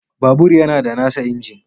Babur yana da nasa injin